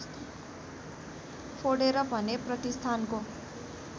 फोडेर भने प्रतिष्ठानको